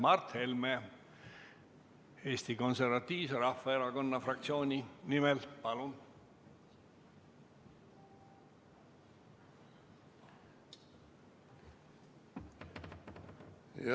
Mart Helme Eesti Konservatiivse Rahvaerakonna fraktsiooni nimel, palun!